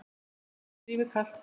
þá gjörist lífið kalt.